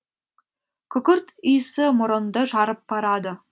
күкірт иісі мұрынды жарып барады